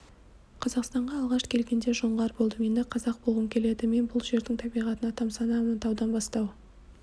қазақстанға алғаш келгенде жоңғар болдым енді қазақ болғым келеді мен бұл жердің табиғатына тамсанамын таудан бастау